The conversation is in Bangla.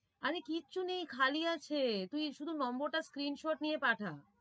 আরে কিচ্ছু নেই খালি আছে তুই শুধু নম্বরটা screen shot নিয়ে পাঠা।